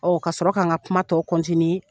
Ɔ ka sɔrɔ ka n ka kuma tɔw